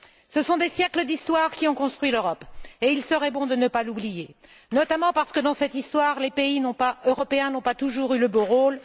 Ce sont des siècles d'histoire qui ont construit l'Europe et il serait bon de ne pas l'oublier, notamment parce que, dans cette histoire, les pays européens n'ont pas toujours eu le beau rôle.